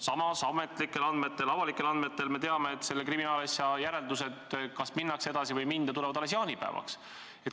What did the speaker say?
Samas tänu avalikele andmetele me teame, et järeldused, kas selle kriminaalasjaga minnakse edasi või ei minda, tehakse alles jaanipäevaks.